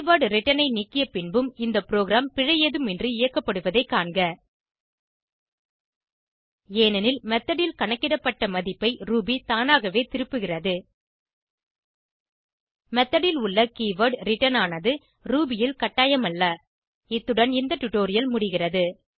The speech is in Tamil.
கீவர்ட் ரிட்டர்ன் ஐ நீக்கிய பின்பும் இந்த ப்ரோகிராம் பிழை ஏதுமின்றி இயக்கப்படுவதைக் காண்க ஏனெனில் மெத்தோட் ல் கணக்கிடப்பட்ட மதிப்பை ரூபி தானாகவே திருப்புகிறது மெத்தோட் ல் உள்ள கீவர்ட் ரிட்டர்ன் ஆனது ரூபி ல் கட்டாயமல்ல இத்துடன் இந்த டுடோரியல் முடிகிறது